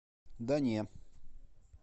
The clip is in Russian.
да не